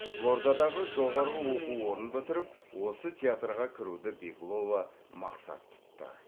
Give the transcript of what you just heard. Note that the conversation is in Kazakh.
қызылордадағы жоғарғы оқу орнын бітіріп осы театрға кіруді беглова мақсат тұтты